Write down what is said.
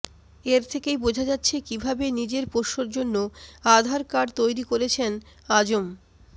এর থেকেই বোঝা যাচ্ছে কীভাবে নিজের পোষ্যর জন্য আধার কার্ড তৈরি করেছেন আজম